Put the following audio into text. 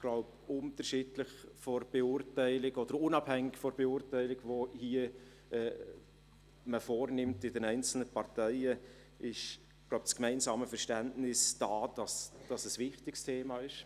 Unabhängig von der Beurteilung, die man in den einzelnen Parteien vornimmt, ist das gemeinsame Verständnis da, dass dies ein wichtiges Thema ist.